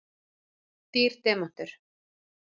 Dýr demantur